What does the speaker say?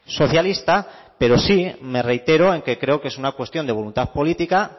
socialista pero sí me reitero en que creo que es una cuestión de voluntad política